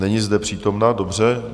Není zde přítomna, dobře.